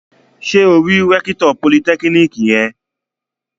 Ṣé o rí rẹ́kítọ̀ politẹ́kíníkì yẹn?